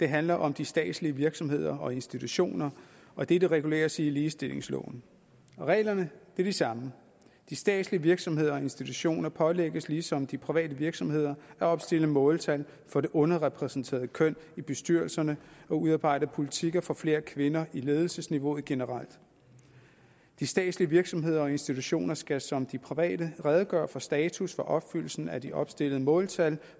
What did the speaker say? handler om de statslige virksomheder og institutioner og dette reguleres i ligestillingsloven reglerne er de samme de statslige virksomheder og institutioner pålægges ligesom de private virksomheder at opstille måltal for det underrepræsenterede køn i bestyrelserne og udarbejde politikker for flere kvinder ledelsesniveau generelt de statslige virksomheder og institutioner skal som de private redegøre for status for opfyldelsen af de opstillede måltal